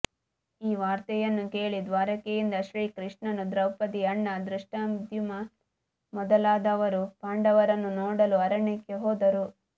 ಈ ವಾರ್ತೆಯನ್ನು ಕೇಳಿ ದ್ವಾರಕೆಯಿಂದ ಶ್ರೀಕೃಷ್ಣನೂ ದ್ರೌಪದಿಯ ಅಣ್ಣ ಧೃಷ್ಟದ್ಯುಮ್ನ ಮೊದಲಾದವರೂ ಪಾಂಡವರನ್ನು ನೋಡಲು ಅರಣ್ಯಕ್ಕೆ ಹೋದರು